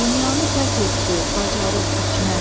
Dünyanı fəth etdi bacarıq, hikmət.